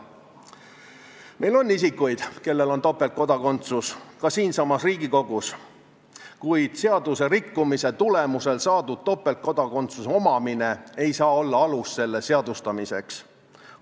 Meil on topeltkodakondsusega inimesi ka siinsamas Riigikogus, kuid seaduse rikkumise tulemusel saadud topeltkodakondsus ei saa olla alus selle seadustamiseks.